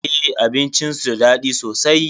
Eh abincin su da daɗi sosai.